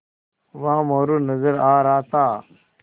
वहाँ मोरू नज़र आ रहा था